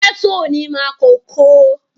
Gẹ́tọ̀ ni Makòko